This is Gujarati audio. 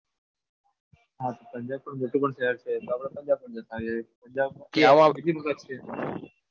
હા પંજાબ પણ મોટું શહેર છે તો આપણે પંજાબમાં જતા રહીએ.